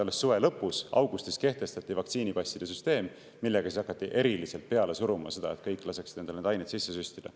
Veel suve lõpus, augustis kehtestati vaktsiinipasside süsteem, millega siis hakati eriliselt peale suruma seda, et kõik laseksid endale neid aineid sisse süstida.